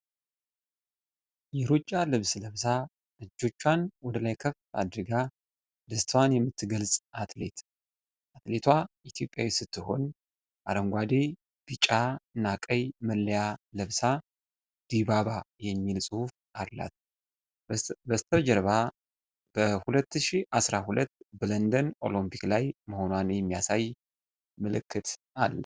የሩጫ ልብስ ለብሳ፣ እጆቿን ወደ ላይ ከፍ አድርጋ ደስታዋን የምትገልጽ አትሌት ። አትሌቷ ኢትዮጵያዊት ስትሆን፣ አረንጓዴ፣ ቢጫና ቀይ መለያ ለብሳ፣ "ዲባባ" የሚል ጽሑፍ አላት። በስተጀርባ በ2012 በለንደን ኦሎምፒክ ላይ መሆኗን የሚያሳይ ምልክት አለ።